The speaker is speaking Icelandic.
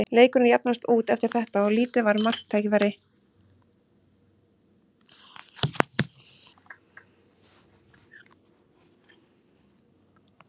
Leikurinn jafnaðist út eftir þetta og lítið var um marktækifæri.